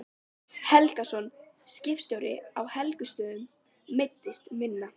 Helgason, skipstjóri á Helgustöðum, meiddist minna.